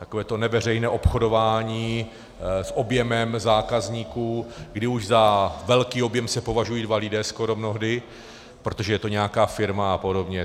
Takové to neveřejné obchodování s objemem zákazníků, kdy už za velký objem se považují dva lidé skoro mnohdy, protože to je nějaká firma a podobně.